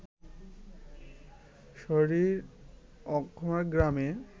সারি-র Ockham গ্রামে